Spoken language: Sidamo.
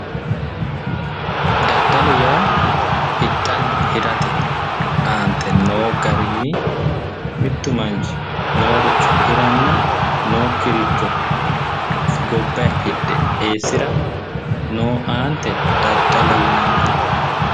Daddalo yaa hidhanna hirate mittu Manchi nooricho hiranna nookkiricho gobbay hidhe eessira noo aante daddalo yinanni